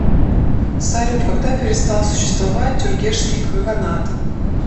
салют когда перестал существовать тюргешский каганат